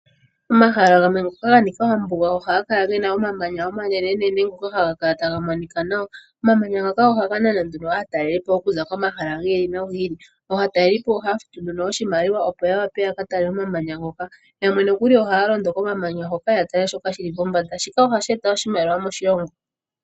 Omahala gamwe ngoka ga nika oombuga oha ga kala ge na omamanya omanene, ngoka ha ga ka la taga monika nawa. Omamanya ngoka oha ga nana aatalelipo oku za komahala gi li nogi ili. Aataleelipo oha ya futu oshimaliwa opo ya ka tale omamanya, yamwe oha ya londo kombanda yomamanya ya tale shoka shiliko. Shika oha shi eta oshimaliwa moshilongo.